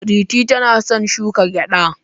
Pretty tana son shuka gyada.